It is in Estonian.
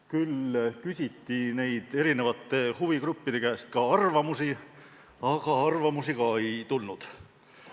Küll küsiti huvigruppide käest arvamusi, aga neid ka ei tulnud.